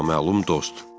Naməlum dost.